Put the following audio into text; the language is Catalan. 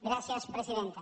gràcies presidenta